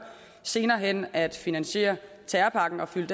senere hen at finansiere terrorpakken og fylde